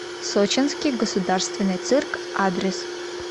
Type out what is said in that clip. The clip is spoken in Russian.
сочинский государственный цирк адрес